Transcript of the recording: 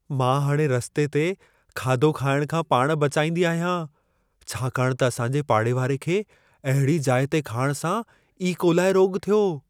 मां हाणे रस्ते ते खाधो खाइण खां पाण बचाईंदी आहियां, छाकाणि त असां जे पाड़ेवारे खे अहिड़ी जाइ ते खाइण सां ई कोलाए रोॻु थियो।